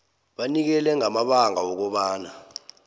banikele ngamabanga wokobana